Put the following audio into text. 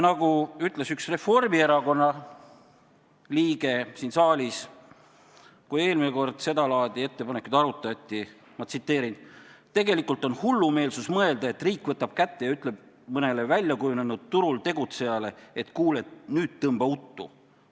Nagu ütles siin saalis üks Reformierakonna liige, kui eelmisel korral sedalaadi ettepanekut arutati: "Tegelikult on hullumeelsus mõelda, et riik võtab kätte ja ütleb mõnele väljakujunenud turul tegutsejale, et kuule, nüüd tõmba uttu.